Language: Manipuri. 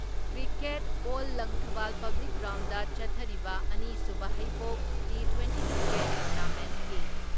ꯀ꯭ꯔꯤꯀꯦꯠ ꯑꯦꯜ ꯂꯪꯊꯕꯥꯜ ꯄꯕ꯭ꯂꯤꯛ ꯒ꯭ꯔꯥꯎꯟꯗ ꯆꯠꯊꯔꯤꯕ ꯑꯅꯤꯁꯨꯕ ꯍꯩꯕꯣꯛ ꯇꯤꯇ꯭ꯋꯦꯟꯇꯤ ꯀ꯭ꯔꯤꯀꯦꯠ ꯇꯣꯔꯅꯥꯃꯦꯟꯀꯤ